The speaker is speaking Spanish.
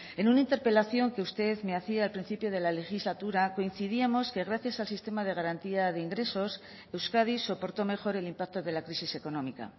en una interpelación que usted me hacía al principio de la legislatura coincidíamos que gracias al sistema de garantía de ingresos euskadi soportó mejor el impacto de la crisis económica